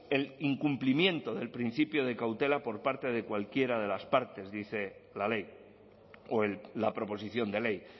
el incumplimiento del principio de cautela por parte de cualquiera de las partes dice la ley o la proposición de ley